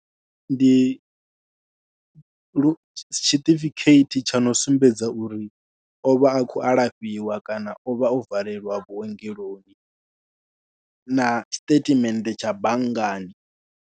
Ndi lu, tshiṱifikheithi tsha no sumbedza uri o vha a khou alafhiwa kana o vha o valeliwa vhuongeloni na statement tsha banngani.